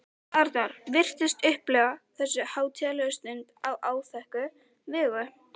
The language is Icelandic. Arnar virtist upplifa þessu hátíðlegu stund á áþekka vegu.